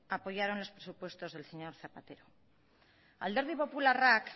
apoyaron los presupuestos del señor zapatero alderdi popularrak